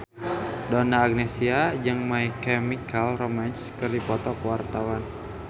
Donna Agnesia jeung My Chemical Romance keur dipoto ku wartawan